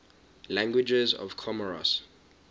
languages of comoros